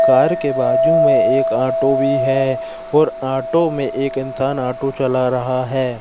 Car के बाजू में एक ऑटो भी है और ऑटो में एक इंसान ऑटो चला रहा है।